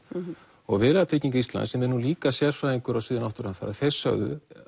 og Viðlagatrygging Íslands sem er nú líka sérfræðingur á sviði náttúruhamfara þeir sögðu